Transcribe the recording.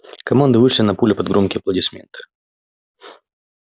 команды вышли на поле под громкие аплодисменты